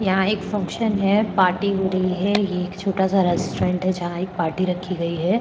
यहाँ एक फंक्शन है पार्टी हो रही है ये एक छोटा सा रेस्ट्रॉन्ट है जहाँ एक पार्टी रखी गई है।